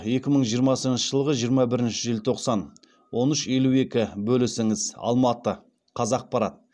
екі мың жиырмасыншы жылғы жиырма бірінші желтоқсан он үш елу екі бөлісіңіз алматы қазақпарат